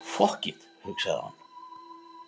Fokkit, hugsaði hann.